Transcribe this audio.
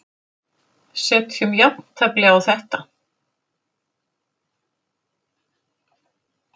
Setjum jafntefli á þetta.